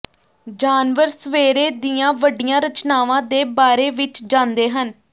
ਜਾਨਵਰ ਸਵੇਰੇ ਦੀਆਂ ਵੱਡੀਆਂ ਰਚਨਾਵਾਂ ਦੇ ਬਾਰੇ ਵਿਚ ਜਾਂਦੇ ਹਨ